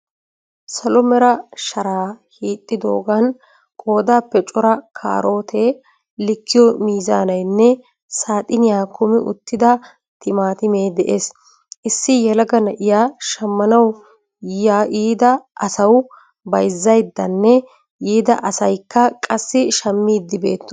Salo meera sharaa hixxidoogan qoodappe cora karootee liikiyo miizaanayinne saaxinniya kumi uttida timatime de'ees. Issi yeelaga na'iyaa shammanawu yiida asaawu baayizzayidanne yiida asaayikka qaasi shaammidi beetosoona.